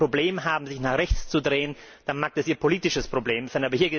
Wenn Sie ein Problem haben, sich nach rechts zu drehen, dann mag das Ihr politisches Problem sein.